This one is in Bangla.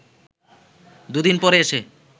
দু’দিন পরে এসে